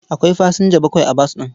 Akwai fasinja bakwai bas ɗin.